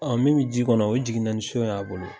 Ɔn min be ji kɔnɔ , o jiginna ni siyon ye a bolo.